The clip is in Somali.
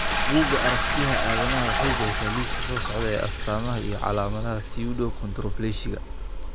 Buugga Aragtiyaha Aadanaha waxay bixisaa liiska soo socda ee astamaha iyo calaamadaha Pseudoachondroplasiga.